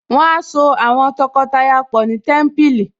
Wọ́n á so àwọn tọkọtaya pọ̀ ni Témípìlì